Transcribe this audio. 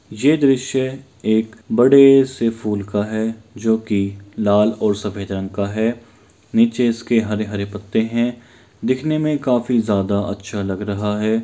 ये दृश्य एक बड़े से फूल का है जो की लाल और सफ़ेद रंग का है नीचे इसके हरे-हरे पत्ते है दिखने में काफी ज़्यादा अच्छा लग रहा है।